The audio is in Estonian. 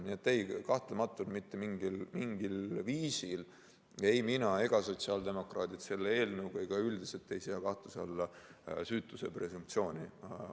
Nii et ei, kahtlemata mitte mingil viisil ei mina ega sotsiaaldemokraadid selle eelnõuga ega üldiselt ei sea kahtluse alla süütuse presumptsiooni.